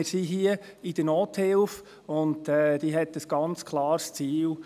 Wir sind hier in der Nothilfe, und diese hat ein ganz klares Ziel.